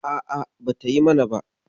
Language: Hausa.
A'a, bata yi mana ba.